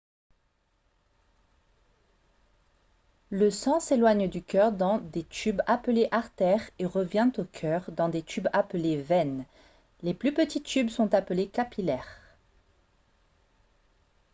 le sang s'éloigne du cœur dans des tubes appelés artères et revient au cœur dans des tubes appelés veines les plus petits tubes sont appelés capillaires